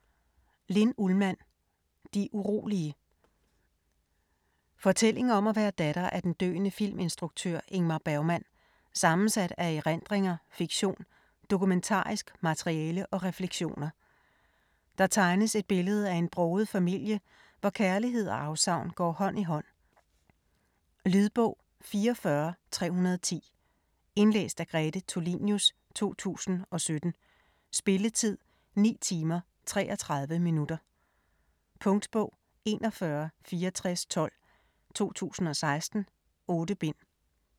Ullmann, Linn: De urolige Fortælling om at være datter af den døende filminstruktør Ingmar Bergmann, sammensat af erindringer, fiktion, dokumentarisk materiale og refleksioner. Der tegnes et billede af en broget familie, hvor kærlighed og afsavn går hånd i hånd. Lydbog 44310 Indlæst af Grete Tulinius, 2017. Spilletid: 9 timer, 33 minutter. Punktbog 416412 2016. 8 bind.